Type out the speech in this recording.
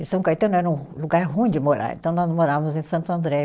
E São Caetano era um lugar ruim de morar, então nós morávamos em Santo André.